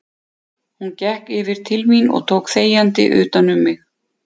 Hún gekk yfir til mín og tók þegjandi utan um mig.